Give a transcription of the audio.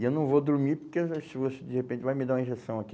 E eu não vou dormir porque se você de repente vai me dar uma injeção aqui.